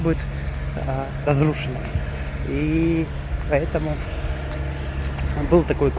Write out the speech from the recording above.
разрушенный и поэтому он был